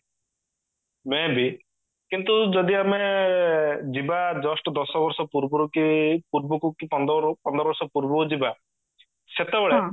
may be କିନ୍ତୁ ଯଦି ଆମେ ଯିବା just ଦଶ ବର୍ଷ ପୂର୍ବରୁ କି ପୂର୍ବକୁ କି ପନ୍ଦର ହୋଉ ପନ୍ଦର ବର୍ଷ ପୂର୍ବକୁ ଯିବା ସେତେବେଳେ